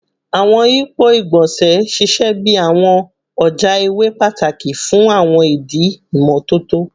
Awọn yipo igbonse ṣiṣẹ bi awọn ọja iwe pataki fun awọn idi imototo